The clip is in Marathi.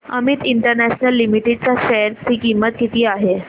अमित इंटरनॅशनल लिमिटेड च्या शेअर ची किंमत किती आहे